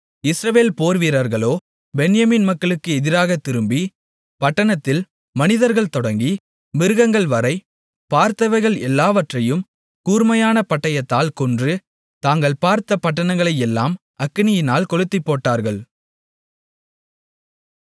இஸ்ரவேல் போர்வீரர்களோ பென்யமீன் மக்களுக்கு எதிராக திரும்பி பட்டணத்தில் மனிதர்கள் தொடங்கி மிருகங்கள்வரை பார்த்தவைகள் எல்லாவற்றையும் கூர்மையான பட்டயத்தால் கொன்று தாங்கள் பார்த்த பட்டணங்களையெல்லாம் அக்கினியால் கொளுத்திப்போட்டார்கள்